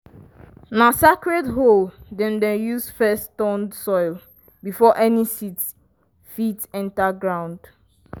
na sacred hoe dem dey use first turn soil before any seed fit enter ground.